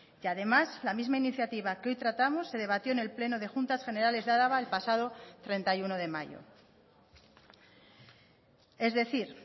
y además la misma iniciativa que hoy tratamos se debatió en el pleno de juntas generales de álava el pasado treinta y uno de mayo es decir